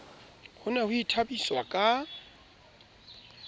ho ne ho ithabiswa ka